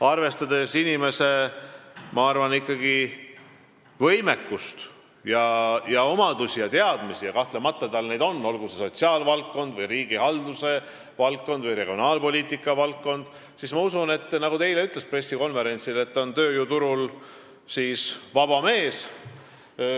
Arvestades inimese võimekust, omadusi ja teadmisi – kahtlemata tal neid on, olgu see sotsiaalvaldkond, riigihalduse valdkond või regionaalpoliitika valdkond –, ma usun, et ta on, nagu ta eile ütles pressikonverentsil, tööjõuturul vaba mees.